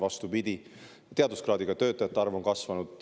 Vastupidi, teaduskraadiga töötajate arv on kasvanud.